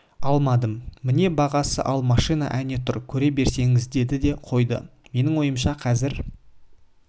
алмадым міне бағасы ал машина әне тұр көре беріңіз деді де қойды менің ойымша қазір